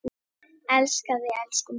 Elska þig, elsku mamma!